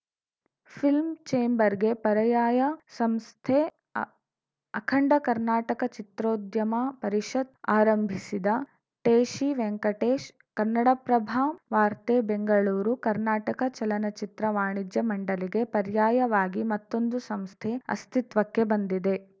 film ಚೇಂಬರ್‌ಗೆ ಪರ್ಯಾಯಯ ಸಂಸ್ಥೆ ಅಖಂಡ ಕರ್ನಾಟಕ ಚಿತ್ರೋದ್ಯಮ ಪರಿಷತ್‌ ಆರಂಭಿಸಿದ ಟೇಶಿ ವೆಂಕಟೇಶ್‌ ಕನ್ನಡಪ್ರಭ ವಾರ್ತೆ ಬೆಂಗಳೂರು ಕರ್ನಾಟಕ ಚಲನಚಿತ್ರ ವಾಣಿಜ್ಯ ಮಂಡಳಿಗೆ ಪರ್ಯಾಯವಾಗಿ ಮತ್ತೊಂದು ಸಂಸ್ಥೆ ಅಸ್ತಿತ್ವಕ್ಕೆ ಬಂದಿದೆ